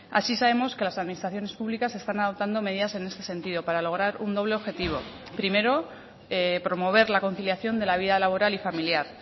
así sabemos que las administraciones públicas están adoptando medidas en este sentido para lograr un doble objetivo primero promover la conciliación de la vida laboral y familiar